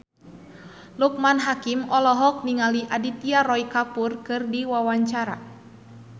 Loekman Hakim olohok ningali Aditya Roy Kapoor keur diwawancara